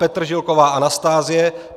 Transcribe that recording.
Petržilková Anastázie